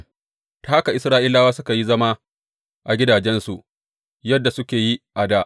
Ta haka Isra’ilawa suka yi zama a gidajensu yadda suka yi a dā.